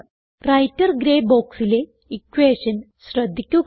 writer grey boxലെ equation ശ്രദ്ധിക്കുക